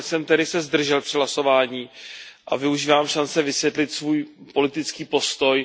Nakonec jsem se tedy zdržel při hlasování a využívám šance vysvětlit svůj politický postoj.